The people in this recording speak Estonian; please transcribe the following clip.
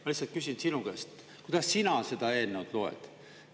Ma lihtsalt küsin sinu käest, kuidas sina seda eelnõu loed.